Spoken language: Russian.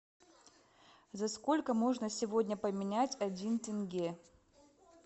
за сколько можно сегодня поменять один тенге